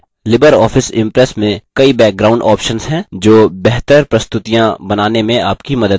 Libre office impress में कई background options हैं जो बेहतर प्रस्तुतियाँ बनाने में आपकी मदद करते हैं